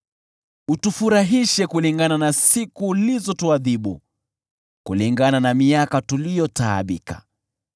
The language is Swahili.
Utufurahishe kulingana na siku ulizotuadhibu, kulingana na miaka tuliyotaabika.